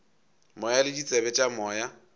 moya le ditsebe tša moya